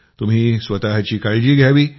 तुम्ही स्वतःची काळजी घ्यावी